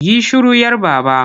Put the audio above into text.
Yi shiru 'yar Baba!